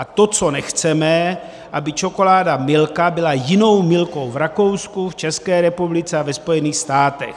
A to, co nechceme, aby čokoláda Milka byla jinou Milkou v Rakousku, v České republice a ve Spojených státech.